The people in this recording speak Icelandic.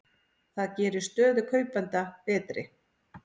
Það gerir stöðu kaupenda betri.